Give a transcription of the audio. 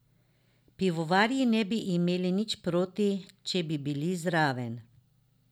Pivovarji ne bi imeli nič proti, če bi bili zraven.